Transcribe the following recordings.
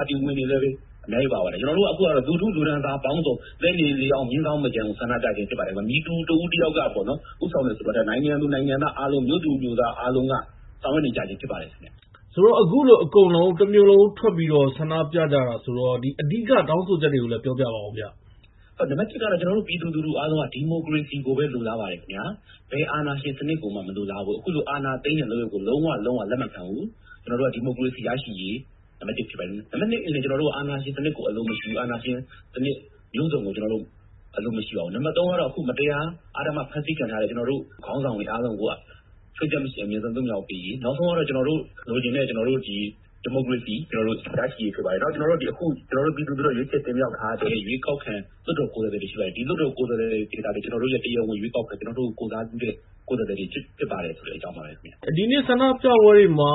ါတီဝင်တွေလည်းပဲ အများကြီး ပါပါတယ်။ အခုကတော့ လူထုလူတန်းစားပေါင်းစုံ- လှည်းနေ၊ လှေအောင်း၊ မြင်းဇောင်းမကျန် ဆန္ဒပြကြတာဖြစ်ပါတယ်။ မည်သူ တဦးတယောက်ကဦးဆောင်တယ်ဆိုတာထက် နိုင်ငံသူနိုင်ငံသားအားလုံး၊ မြို့သူမြို့သားအားလုံးက ဆောင်ရွက်နေကြခြင်းဖြစ်ပါတယ်ခင်ဗျ။…ဆိုတော့ အခုလို တမြို့လုံးထွက်ပြီး ဆန္ဒပြကြတာဆိုတော့ အဓိကတောင်းဆိုချက်တွေကိုလည်း ပြောပြပါအုံးဗျ။ နံပါတ် ကတော့ ကျနော်တို့ ပြည်သူအားလုံးက ဒီမိုကရေစီကိုပဲ လိုလားပါတယ်ခင်ဗျာ။ ဘယ်အာဏာရှင်စနစ်ကိုမှ မလိုလားဘူး။ အခုလို အာဏာသိမ်းတဲ့လုပ်ရပ်ကို လုံးဝ လုံးဝ လက်မခံဘူး။ ဒီမိုကရေစီရရှိရေးက နံပါတ် ဖြစ်ပါတယ်။ နံပါတ် ကတော့ အာဏာရှင်စနစ်ကို အလိုမရှိဘူး။ အာဏာရှင်စနစ်ကို အလုံးစုံအလိုမရှိပါဘူး. နံပါတ် ကတော့ အခု မတရား အဓမ္မဖမ်းဆီးခံထားရတဲ့ ကျနော်တို့ခေါင်းဆောင်တွေအားလုံးကို ခြွင်းချက်မရှိ အမြန်ဆုံးပြန်လွှတ်ပေးရေး။ နောက်ဆုံးကတော့ ကျနော်တို့လိုချင်တဲ့ ဒီမိုကရေစီရရှိရေးဖြစ်ပါတယ်။ နောက်ပြီးတော့ ကျနော်တို့ ပြည်သူလူထုက ရွေးချယ်တင်မြှောက်ထားတဲ့ ရွေးကောက်ခံ လွှတ်တော်ကိုယ်စားလှယ်တွေ ရှိပါတယ်။ ဒီလွှတ်တော် ကိုယ်စားလှယ်တွေသာလျှင် ကျနော်တို့ရဲ့တရားဝင်ရွေးကောက်ခံ၊ ကျနော်တို့ကို ကိုယ်စားပြုတဲ့ကိုယ်စားလှယ်တွေ ဖြစ်ပါတယ်ဆိုတဲ့အကြောင်းပါပဲခင်ဗျ။ ဒီနေ့ဆန္ဒပြပွဲတွေမှာ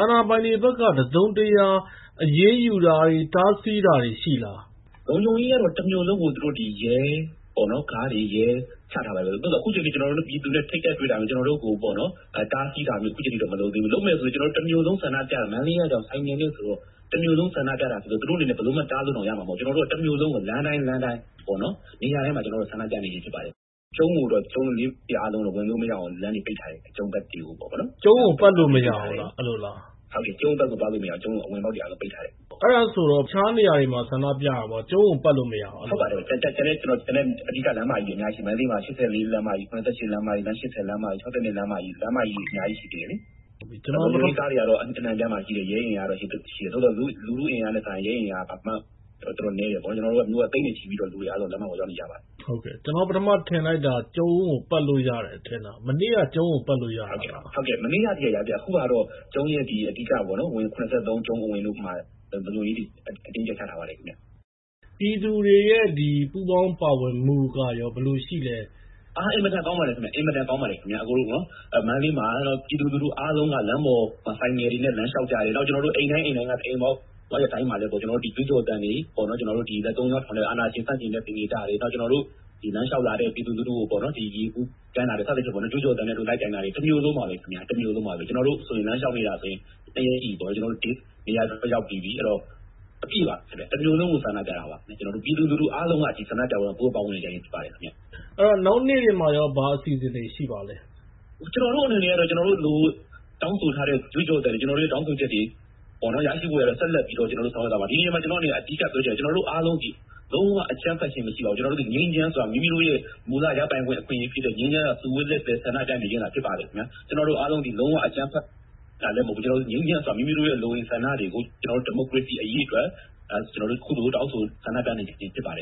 အာဏာပိုင်တွေဘက်က တစုံတရာအရေးယူတာတွေ၊ ဖမ်းဆီးတာတွေရှိလား။ လုံခြုံရေးကတော့ တမြို့လုံးကို ရဲကားတွေ ချထားပါတယ်။ အခုအချိန်အထိ ပြည်သူနဲ့ထိပ်တိုက်တွေ့တာမျိုး၊ ကျနော်တို့ကိုတားဆီးတာမျိုးတော့ အခုအချိန်အထိ မလုပ်သေးဘူး။ လုပ်မယ်ဆိုရင်လည်း တမြို့လုံးဆန္ဒပြနေတာ။ မန္တလေးက ဆိုင်ကယ်မြို့ဆိုတော့ တမြို့လုံးဆန္ဒပြတာဆိုတော့ သူတို့အနေနဲ့ဘယ်လိုမှ တားလို့ရမှာတောင်မဟုတ်ဘူး။ တမြို့လုံးကို လမ်းတိုင်း လမ်းတိုင်း၊ နေရာတိုင်းမှာ ကျနော်တို့က ဆန္ဒပြနေခြင်းဖြစ်ပါတယ်။ ကျုံးလေးခုလုံးကိုတော့ ဝင်လို့မရအောင် လမ်းတွေပိတ်ထားတယ်။ ကျုံးကို ပတ်လို့မရဘူးလား။ ဟုတ်ကဲ့၊ ကျုံးကိုပတ်လို့မရဘူး။ ကျုံးတွေကတော့ ပိတ်ထားတယ်။ အဲဒါဆို တခြားနေရာတွေမှာတော့ ဆန္ဒပြတယ်။ ကျုံးကိုပတ်လို့မရဘူး။ အဲလိုလား။ ဟုတ်ပါတယ်။ ကျုံးကိုပတ်လို့သွားလို့မရဘူး။ ကျန်တဲ့အဓိကလမ်းမကြီးတွေ အများကြီးရှိပါတယ်။ မန္တလေးမှာ ၈၄ လမ်းမကြီး။ ၇၈ လမ်းမကြီး၊ လမ်း ၈၀ လမ်းမကြီး၊ ၆၂ လမ်းမကြီး၊ လမ်းမကြီးတွေ အများကြီးရှိသေးတယ်လေ။ လုံခြုံရေးကားတွေကတော့ အနှံ့အပြားမှာရှိတယ်။ ရဲတွေလည်းရှိတယ်။ သို့သော် လူထုအင်အားနဲ့စာရင် ရဲအင်အားက ဘာမှ…နည်းတယ်ပေါ့။ ကျနော်တို့က လူထုက သိန်းနဲ့ချီပြီးတော့ လမ်းမပေါ်ရောက်နေကြပါတယ်။ ကျနော် ထင်လိုက်တာက ကျုံးကိုပတ်လို့ရတယ်ထင်တာ။ မနေ့က ကျုံးကို ပတ်လို့ရတယ်မို့လား။ ဟုတ်တယ်။ မနေ့ကအထိ ကျုံးကိုပတ်လို့ရသေးတယ်။ အခုဟာကတော့ ကျုံးရဲ့အဓိက ၇၃ လမ်း ကျုံးအဝင်မှာ လုံခြုံရေးတွေ အတင်းအကြပ် ချထားပါတယ်ခင်ဗျ။ ပြည်သူတွေရဲ့ပူးပေါင်းပါဝင်မှုကရော ဘယ်လိုရှိလဲ။ အား…။ အင်မတန်ကောင်းပါတယ်ခင်ဗျ။ မန္တလေးမှာ ပြည်သူလူထုအားလုံးက လမ်းပေါ်ဆိုင်ကယ်တွေနဲ့၊ နောက် လမ်းလျှောက်ကြတယ်။ နောက် အိမ်တိုင်း အိမ်တိုင်းက အိမ်ပေါက်တိုင်းမှာလည်း ကြွေးကျော်သံတွေ၊ လက်သုံးချောင်းထောင်တဲ့အာဏာရှင်ဆန့်ကျင်တဲ့ သင်္ကေတတွေ၊ နောက် ကျနော်တို့ လမ်းလျှောက်လာတဲ့ပြည်သူလူထုကို ရေဗူးကမ်းတာတွေ၊ စသဖြင့် ကြွေးကျော်သံနဲ့ လိုက်တိုင်တာတွေ တမြို့လုံးပါပဲခင်ဗျ။ ကျနော်တို့ လမ်းလျှောက်နေတာဆိုရင် ၂ ရက်ရှိပြီပေါ့။ နေရာစုံလည်း ရောက်ပြီးပြီ။ အဲဒီတော့ အပြည့်ပေါ့။ တမြို့လုံးကို ဆန္ဒပြတာပါ။ ပြည်သူလူထုအားလုံးက ဒီဆန္ဒပြပွဲကို ပူးပေါင်းပါဝင်နေကြခြင်းဖြစ်ပါတယ်။ နောက်နေ့တွေမှာရော ဘာအစီအစဉ်တွေ ရှိပါလဲ။ ကျနော်တို့အနေနဲ့ကတော့ ကျနော်တို့တောင်းဆိုထားတဲ့ ကြွေးကျော်သံတွေ၊ ကျနော်တို့ရဲ့တောင်းဆိုချက်တွေရရှိဖို့ ဆက်လက်ပြီးတော့ ဆောင်ရွက်သွားမှာပါ။ ဒီနေရာမှာ ကျနော့်အနေနဲ့ အဓိကပြောချင်တာကကျနော်တို့အားလုံးသည် လုံးဝ အကြမ်းဖက်ခြင်းမရှိပါဘူး။ ငြိမ်းချမ်းစွာ မိမိတို့ရဲ့ မူလရပိုင်ခွင့်ဖြစ်တဲ့ ငြိမ်းချမ်းစွာစုဝေးခွင့်နဲ့ ဆန္ဒပြနေခြင်းသာဖြစ်ပါတယ်ခင်ဗျာ။ ကျနော်တို့အားလုံးသည် လုံးဝအကြမ်းဖက်တာလည်းမဟုတ်ဘူး။ ငြိမ်းချမ်းစွာ မိမိတို့ရဲ့လိုအင်ဆန္ဒတွေကို ဒီမိုကရေစီအရေးအတွက် အခုလို ဆန္ဒပြ တောင်းဆိုနေခြင်းဖြစ်ပါတယ်